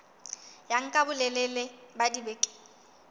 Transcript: ya nka bolelele ba dibeke